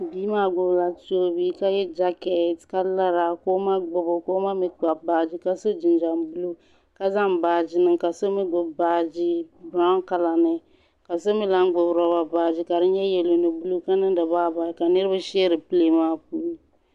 bimaa gbabila chibi ka yɛ jakatɛ ka lara ko ma gba o ka o ma mi kpabi baaji ka su jinjam bulo ka zaŋ baaji niŋ ka so mi gbabi baaji biriwɔn kala ka so mi lan gbabi loba baaji ka di nyɛ yɛlo ni bulo ka niriba ka niŋ di bayi bayi ka so shɛri pɛlɛɛn puuni